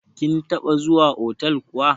Kin taɓa zuwa otal kuwa?